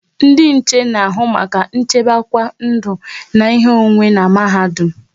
Ndị nche n'ahụ maka nchekwaba ndụ na ihe onwunwe n'mahadum